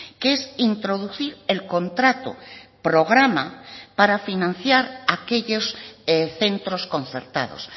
que es introducir el contrato programa para financiar aquellos centros concertados